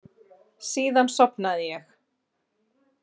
Síðan sofnaði ég.